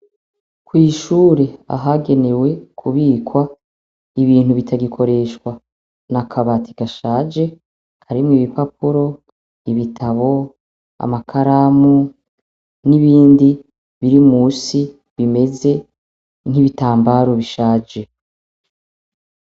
Kw'ishure ahagenewe kubikwa ibintu bitagikoreshwa na akabati gashaje karimwe ibipapuro ibitabo amakaramu n'ibindi biri musi bimeze nk'ibitambaro bishaje.